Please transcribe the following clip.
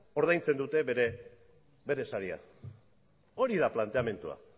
ordaintzen dute bere sariak hori da planteamendua